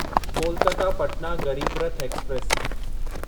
Kolkata Patna Garib Rath express